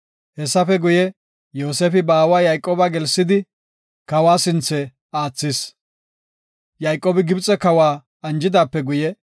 Hessafe guye, Yoosefi ba aawa Yayqooba gelsidi, kawa sinthe aathis. Yayqoobi Gibxe kawa anjidaape guye,